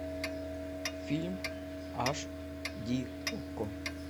фильм аш ди окко